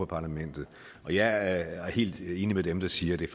parlamentet og jeg er helt enig med dem der siger at det